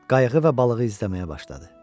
Qayığı və balığı izləməyə başladı.